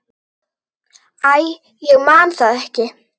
Æ, ég man það ekki.